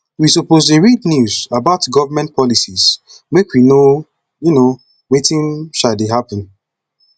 we suppose dey read news about government policy make we know um wetin um dey happen